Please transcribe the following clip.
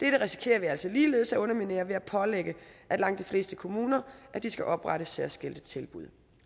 dette risikerer vi altså ligeledes at underminere ved at pålægge langt de fleste kommuner at de skal oprette særskilte tilbud